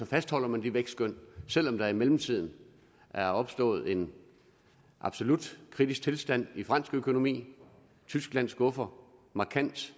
fastholder man de vækstskøn selv om der i mellemtiden er opstået en absolut kritisk tilstand i fransk økonomi og tyskland skuffer markant